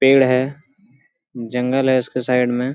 पेड़ है जंगल है उसके साइड में।